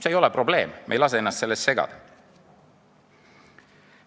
See ei ole probleem, me ei lase ennast sellest segada!